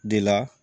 De la